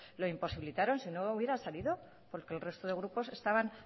lo imposibilitaron si no hubiera salido porque el resto de grupos estaban